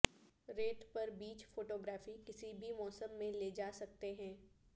ریت پر beach photography کسی بھی موسم میں لے جا سکتے ہیں